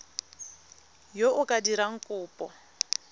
yo o ka dirang kopo